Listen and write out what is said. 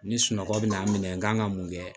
Ni sunɔgɔ bɛ n'a minɛ n kan ka mun kɛ